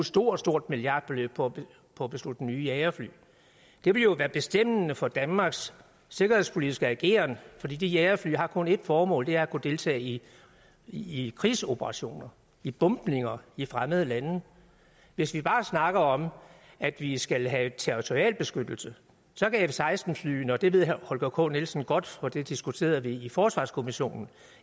stort stort milliardbeløb på at beslutte nye jagerfly det vil jo være bestemmende for danmarks sikkerhedspolitiske ageren for jagerfly har kun et formål og det er at kunne deltage i i krigsoperationer i bombninger i fremmede lande hvis vi bare snakker om at vi skal have territorial beskyttelse så kan f seksten flyene og det ved herre holger k nielsen godt for det diskuterede vi i forsvarskommissionen